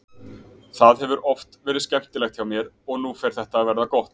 Það hefur oft verið skemmtilegt hjá mér og nú fer þetta að verða gott.